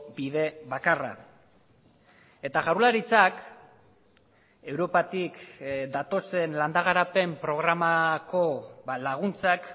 bide bakarra eta jaurlaritzak europatik datozen landa garapen programako laguntzak